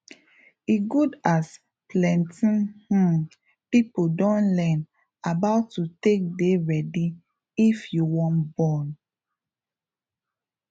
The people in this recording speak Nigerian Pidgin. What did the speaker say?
e good as plenty um people don learn about to take dey ready if you wan born